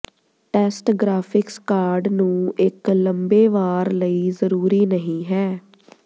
test graphics card ਨੂੰ ਇੱਕ ਲੰਬੇ ਵਾਰ ਲਈ ਜ਼ਰੂਰੀ ਨਹੀ ਹੈ